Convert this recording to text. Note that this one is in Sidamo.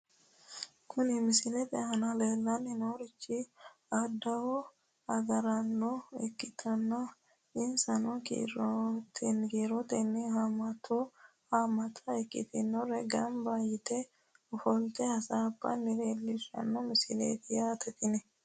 Kuni misilete aana leellanni noorichi adawu agaraano ikkitanna insano kiirotenni haammata ikkitinori gamba yite ofolte hasaabbanna leellishshanno misileeti yaate tini.